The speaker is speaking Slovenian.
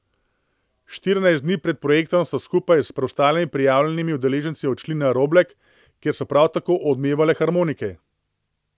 Štirinajst dni pred projektom so skupaj s preostalimi prijavljenimi udeleženci odšli na Roblek, kjer so prav tako odmevale harmonike.